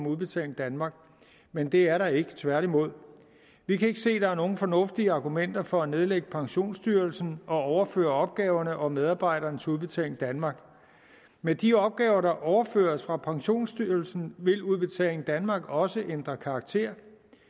udbetaling danmark men det er der ikke tværtimod vi kan ikke se at der er nogen fornuftige argumenter for at nedlægge pensionsstyrelsen og overføre opgaverne og medarbejderne til udbetaling danmark med de opgaver der overføres fra pensionsstyrelsen vil udbetaling danmark også ændre karakter